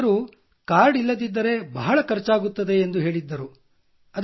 ವೈದ್ಯರು ಕಾರ್ಡ್ ಇಲ್ಲದಿದ್ದರೆ ಬಹಳ ಖರ್ಚಾಗುತ್ತದೆ ಎಂದು ಹೇಳಿದ್ದರು